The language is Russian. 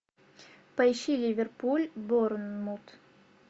поищи ливерпуль борнмут